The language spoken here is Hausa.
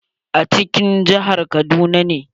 A cikin jihar kaduna ne.